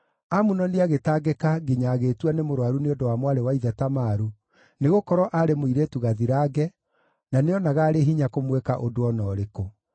Amunoni agĩtangĩka nginya agĩĩtua nĩ mũrũaru nĩ ũndũ wa mwarĩ wa ithe Tamaru, nĩgũkorwo aarĩ mũirĩtu gathirange, na nĩonaga arĩ hinya kũmwĩka ũndũ o na ũrĩkũ.